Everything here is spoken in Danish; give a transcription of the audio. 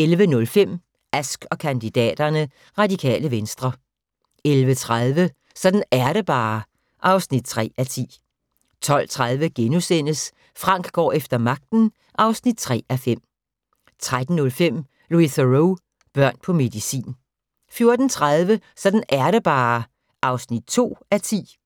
11:05: Ask & kandidaterne: Radikale Venstre 11:30: Sådan er det bare (3:10) 12:30: Frank går efter magten (3:5)* 13:05: Louis Theroux: Børn på medicin 14:30: Sådan er det bare (2:10)